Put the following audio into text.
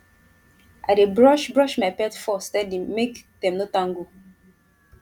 i dey brush brush my pet fur steady make dem no tangle